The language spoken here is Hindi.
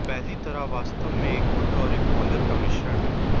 पहली तरह वास्तव में एक हुड और एक कॉलर का मिश्रण है